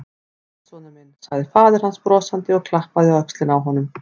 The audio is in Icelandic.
Sæll, sonur minn sagði faðir hans brosandi og klappaði á öxlina á honum.